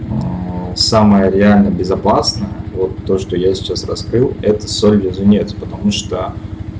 самая реально безопасное вот то что я сейчас раскрыл это соль-лизунец потому что